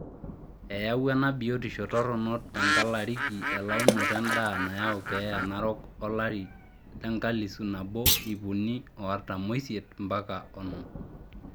Eyawua ena biotisho toronok tenkalariki elaunoto endaa neyau keeya narok olari lenkalisu nabo iip uni o artam oisiet mpaka onom.